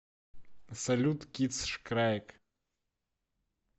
салют китсшкрайг